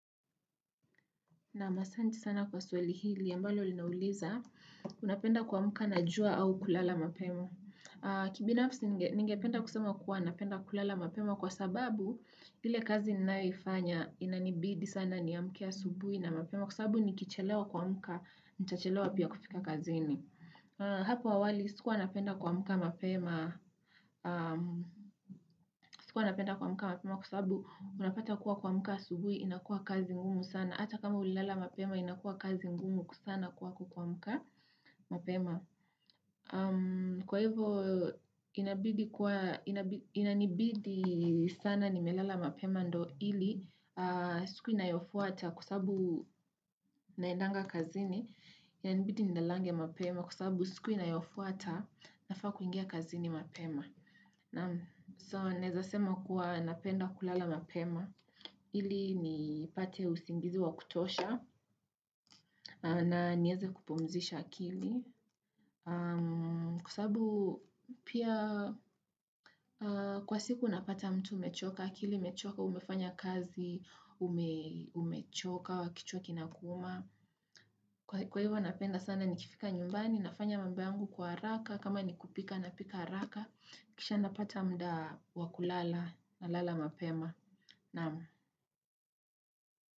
Naam asanti sana kwa swali hili, ambalo linauliza, unapenda kuamuka na jua au kulala mapema. Kibinafsi, ningependa kusema kuwa napenda kulala mapemo kwa sababu, ile kazi ninayoifanya, inanibidi sana niamke asubui na mapema, kwa sababu nikichelewa kuamuka, nchachelewa pia kufika kazi ini. Hapo awali, sikuwa napenda kuamuka mapema, sikuwa napenda kuamuka mapema kwa sababu, unapata kuwa kuamuka asubui, inakua kazi ngumu sana. Ata kama ulilala mapema inakuwa kazi ngumu sana kwako kuamuka mapema. Kwa hivyo inanibidi sana nimelela mapema ndo ili siku inayofuata kwa sababu naendanga kazini inabidi nilalange mapema kwa sababu siku inayofuata nafaa kuingia kazini mapema. So naeza sema kuwa napenda kulala mapema Ili nipate usingizi wa kutosha na nieze kupumzisha akili. Kwa sababu pia kwa siku unapata mtu umechoka, akili umechoka, umefanya kazi, umechoka, kichwa kinakuuma. Kwa hivyo napenda sana ni kifika nyumbani, nafanya mambo yangu kwa haraka, kama ni kupika napika haraka. Kisha napata muda wa kulala nalala mapema.